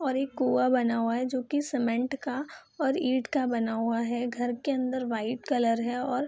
और एक कुआं बना हुआ है जो की सीमेंट का और ईंट का बना हुआ है घर के अंदर वाइट कलर है और --